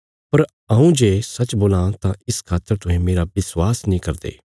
पर हऊँ जे सच्च बोलां तां इस खातर तुहें मेरा विश्वास नीं करदे